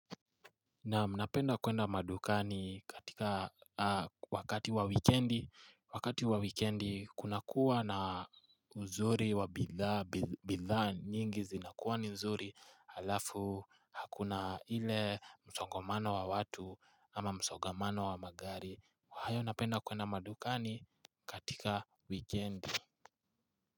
Naam napenda kwenda madukani katika wakati wa wekendi, wakati wa wekendi kuna kuwa na uzuri wa bidhaa nyingi zinakuwa nizuri alafu hakuna ile msongamano wa watu ama msongamano wa magari haya napenda kwenda madukani katika wekendi.